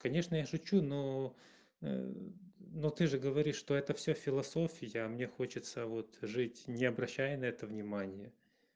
конечно я шучу но но ты же говоришь что это всё философия а мне хочется вот жить не обращая на это внимание